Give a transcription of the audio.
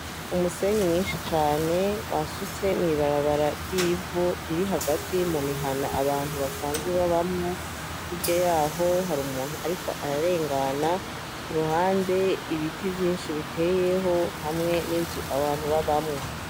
Umusenyi mwinshi cane basutse mw'ibarabara ryivu riri hagati mu mihana abantu basanzwe babamwo hirya yaho hari umuntu, ariko ararengana ku ruhande ibiti vyinshi biteyemwo hamwe n'inzu abantu b'abamwo.